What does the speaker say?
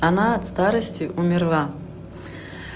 она от старости умерла